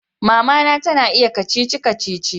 Mama na ta iya kacici-kacici